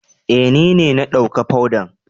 Eh, ni ne na dawka fodan.